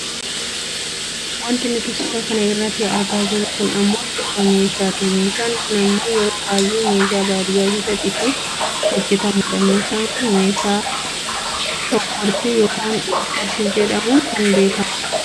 Wanti nuti suuraa kana irratti argaa jirru kun ammoo suuraa meeshaati. Meeshaan kun ammoo yeroo baayyee meeshaa baadiyyaa keessatti ittiin hojjatamudha. Meeshaan kun meeshaa shooggortuu yookaan qonfortuu jedhamuun kan beekkamudha.